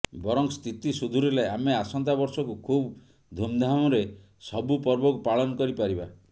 ବରଂ ସ୍ଥିତି ସୁଧୁରିଲେ ଆମେ ଆସନ୍ତା ବର୍ଷକୁ ଖୁବ୍ ଧୁମଧାମରେ ସବୁପର୍ବକୁ ପାଳନ କରିପାରିବା